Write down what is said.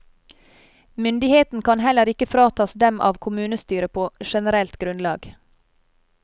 Myndigheten kan heller ikke fratas dem av kommunestyret på generelt grunnlag.